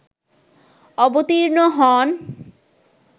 অবতীর্ণ হন